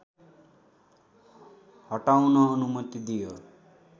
हटाउन अनुमति दियो